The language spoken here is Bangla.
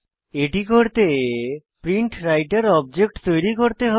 এটি করতে প্রিন্টরাইটের অবজেক্ট তৈরী করতে হবে